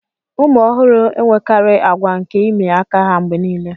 ụmụ ọhụrụ enwekarị àgwà nke ịmị aka ha mgbe nile